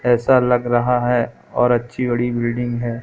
ऐसा लग रहा है और अच्छी बड़ी बिल्डिंग हैं।